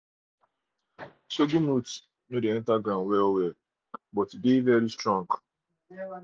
sorghum root no dey enter ground well-well but e strong. but e strong.